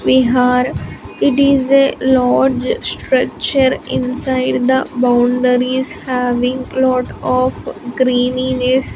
vihar it is a large structure inside the boundaries having lot of greenines.